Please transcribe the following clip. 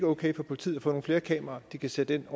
okay at politiet får nogle flere kameraer de kan sætte ind